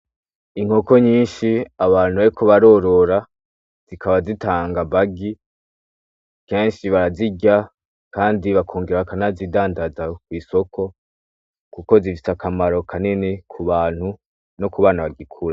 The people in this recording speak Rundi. Inkoko nyinshi, abantu bariko barorora, zikaba zitanga amagi kenshi barazirya Kandi bakongera bakanazidandaza kwisoko kuko zifise akamaro kanini kubantu no kubana bagikura.